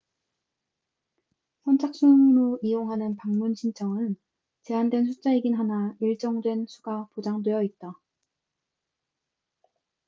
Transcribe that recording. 선착순으로 이용하는 방문 신청은 제한된 숫자이긴 하나 일정 된 수가 보장되어 있다